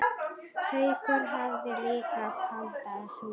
Haukur hafði líka pantað súpu.